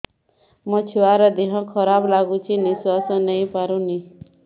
ମୋ ଛୁଆର ଦିହ ଖରାପ ଲାଗୁଚି ନିଃଶ୍ବାସ ନେଇ ପାରୁନି